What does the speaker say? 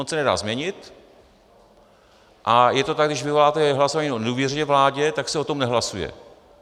On se nedá změnit a je to tak, když vyvoláte hlasování o nedůvěře vládě, tak se o tom nehlasuje.